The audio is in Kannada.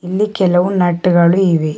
ಇಲ್ಲಿ ಕೆಲವು ನಟ್ ಗಳು ಇವೆ.